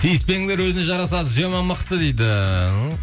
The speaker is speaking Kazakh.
тиіспеңдер өзіне жарасады зема мықты дейді